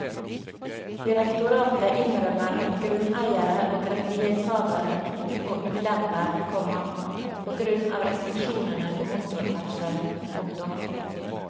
Direktoratet innrømmer at grunneiere og rettighetshavere vil få ulemper, komma på grunn av restriksjonene på motorferdselen. punktum